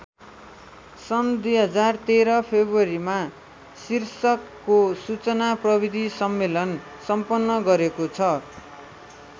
सन् २०१३ फेब्रुवरीमा शीर्षकको सूचना प्रविधि सम्मेलन सम्पन्न गरेको छ।